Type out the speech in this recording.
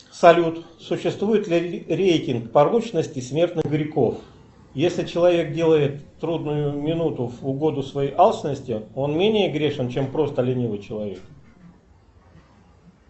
салют существует ли рейтинг порочности смертных грехов если человек делает в трудную минуту в угоду своей алчности он менее грешен чем просто ленивый человек